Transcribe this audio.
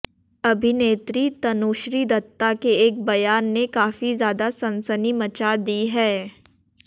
अभिनेत्री तनुश्री दत्ता के एक बयान ने काफी ज्यादा सनसनी मचा दी है